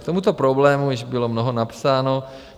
K tomuto problému již bylo mnoho napsáno.